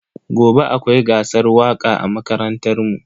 Gobe akwai gasar waka a makarantar mu.